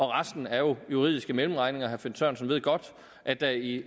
resten er jo juridiske mellemregninger herre finn sørensen ved godt at der i